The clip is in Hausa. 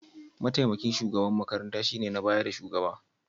Mataimakin shugaban makaranta shine na bayan da shugaba.